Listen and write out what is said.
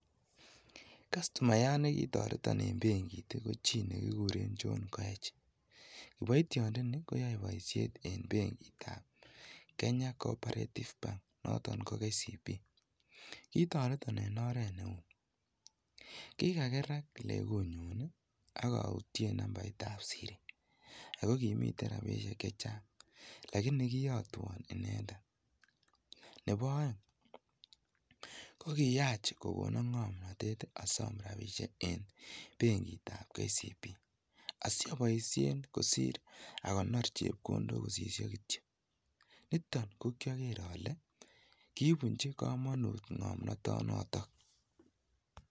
Kastomayat nekitoreton en beng'it i ko chii nekikuren John koech kiboityondoni koyoe boishet en beng'itab Kenya Cooperative Bank noton ko KCB kitoreton en oret neui, kikakerak lekunyun i akoutyen nambait ab Siri akokimiten rabinik chechang lakini kiyotwon inendet, nebo oeng, kokiyach kokonon ngomnotet asiosom rabishek en beng'itab KCB asioboishen kosir akonor chepkondok kosisyo kityok, niton kokioker ole kibunchi komonut ngomnotonoton.